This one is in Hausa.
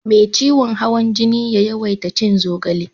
Me ciwon hawan jini ya yawaita cin zogale